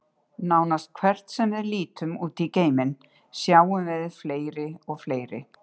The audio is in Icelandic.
Nánast hvert sem við lítum út í geiminn, sjáum við fleiri og fleiri.